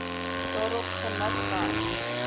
daarop gemik was